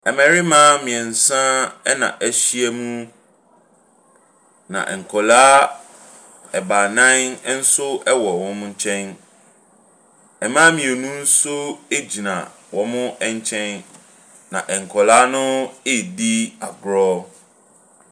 Mmarima mmiɛnsa na ahyia mu, na nkwadaa baanan nso wɔ wɔn nkyɛn. Mmaa mmienu nso gyina wɔn nkyɛn, na nkwadaa no ɛredi agorɔ.